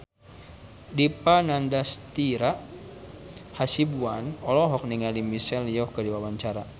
Dipa Nandastyra Hasibuan olohok ningali Michelle Yeoh keur diwawancara